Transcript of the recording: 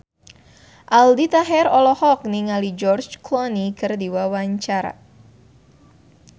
Aldi Taher olohok ningali George Clooney keur diwawancara